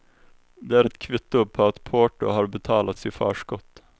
De är ett kvitto på att porto har betalats i förskott.